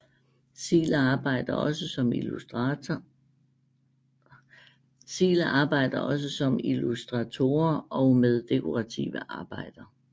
Zieler arbejder også som illustratorer og med dekorative arbejder